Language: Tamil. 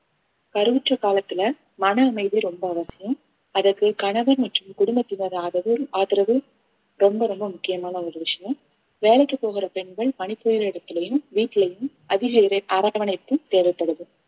கருவுற்ற காலத்துல மன அமைதி ரொம்ப அவசியம் அதற்கு கணவன் மற்றும் குடும்பத்தினர் ஆதரவு ஆதரவு ரொம்ப ரொம்ப முக்கியமான ஒரு விஷயம் வேலைக்கு போகிற பெண்கள் பணிபுரியுற இடத்துலயும் வீட்லயும் அதிக இரை~ அரவணைப்பும் தேவைப்படுது